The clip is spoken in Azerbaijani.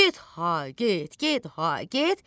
Get ha get, get ha get.